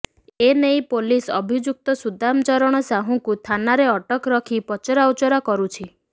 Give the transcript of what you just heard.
ଏନେଇ ପୋଲିସ୍ ଅଭିଯୁକ୍ତ ସୁଦାମ ଚରଣ ସାହୁଙ୍କୁ ଥାନାରେ ଅଟକ ରଖି ପଚରାଉଚରା କରୁଛି